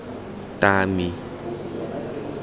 tami